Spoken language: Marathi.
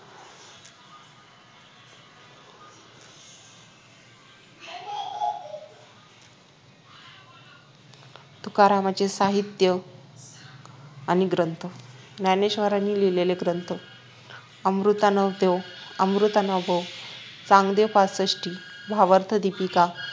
तुकारामांचे साहित्य आणि ग्रंथ ज्ञानेश्वरांनी लिहिलेले ग्रंथ अमृतानुभव चांगदेव पासष्टी भावार्थदीपिका